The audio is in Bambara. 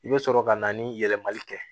I bɛ sɔrɔ ka na ni yɛlɛmali kɛ